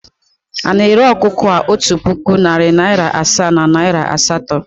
Ị na-ere ọkụkọ a otu puku, narị naịra asaa na naịra asatọ?